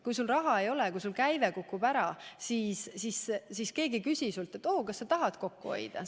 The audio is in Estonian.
Kui sul raha ei ole ja käive kukub ära, siis keegi ei küsi sinult, kas sa tahad kokku hoida.